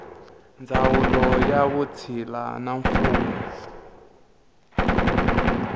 ndzawulo ya vutshila na mfuwo